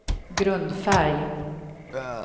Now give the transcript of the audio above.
grundfärg